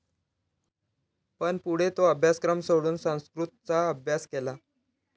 पण पुढे तो अभ्यासक्रम सोडून संस्कृतचा अभ्यास केला.